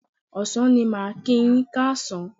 Ọ̀sán ni màá kíi yín káàsán.